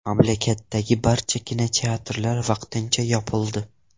Mamlakatdagi barcha kinoteatrlar vaqtincha yopildi .